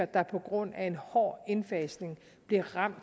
der på grund af en hård indfasning bliver ramt